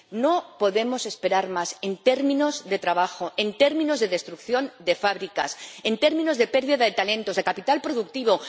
No podemos esperar más en términos de trabajo, en términos de destrucción de fábricas, en términos de pérdida de talentos, de capital productivo.